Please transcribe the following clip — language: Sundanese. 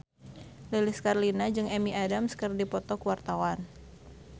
Lilis Karlina jeung Amy Adams keur dipoto ku wartawan